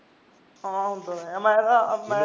ਆਹੋ ਹੁੰਦਾ ਤਾਂ ਹੈ ਮੈਨੂੰ